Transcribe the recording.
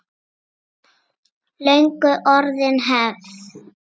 Löngu orðin hefð.